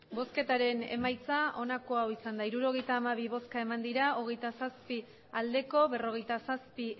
emandako botoak hirurogeita hamabi bai hogeita zazpi ez berrogeita zazpi